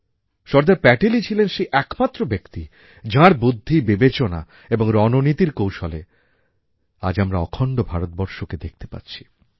সর্দার প্যাটেলই ছিলেন সেই একমাত্র ব্যক্তি যাঁর বুদ্ধি বিবেচনা এবং রণ নীতির কৌশলে আজ আমরা অখণ্ড ভারতবর্ষকে দেখতে পাচ্ছি